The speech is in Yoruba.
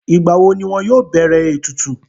Ìgbàwo ni wọn yóò bẹ̀rẹ̀ ètùtù?